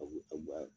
A bu a buwa